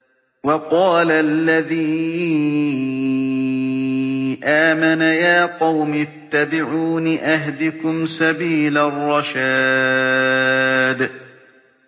وَقَالَ الَّذِي آمَنَ يَا قَوْمِ اتَّبِعُونِ أَهْدِكُمْ سَبِيلَ الرَّشَادِ